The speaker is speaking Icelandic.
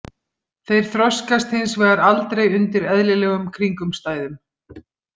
Þeir þroskast hins vegar aldrei undir eðlilegum kringumstæðum.